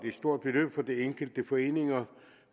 et stort beløb for de enkelte foreninger